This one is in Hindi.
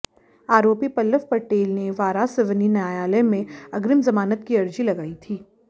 आरोपी पल्लव पटेल ने वारासिवनी न्यायालय में अग्रिम जमानत की अर्जी लगाई थी